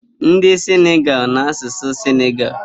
Ndị Sinigalu na-asụsụ Sinigalu